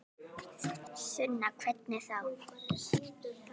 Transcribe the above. Sunna: Hvernig þá?